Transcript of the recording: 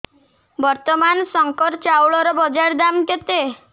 ବର୍ତ୍ତମାନ ଶଙ୍କର ଚାଉଳର ବଜାର ଦାମ୍ କେତେ